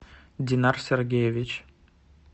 динар сергеевич